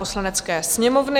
Poslanecké sněmovny